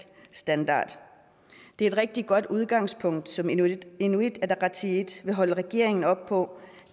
standard det er et rigtig godt udgangspunkt som inuit inuit ataqatigiit vil holde regeringen op på